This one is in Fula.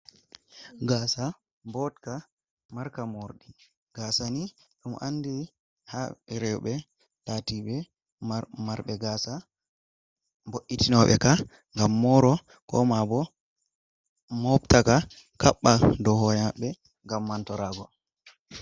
Gaasa botka marka morɗi. Gaasa ni ɗum andini haa rewbe laatibe marɓe gaasa, wo'itinoɓe ka, ngam mooro ko ma bo mobta ka, kaɓɓa dow hore maɓɓe ngam mantoraago.